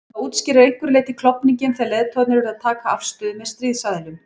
Það útskýrir að einhverju leyti klofninginn þegar leiðtogarnir urðu að taka afstöðu með stríðsaðilum.